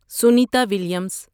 Sunita Williams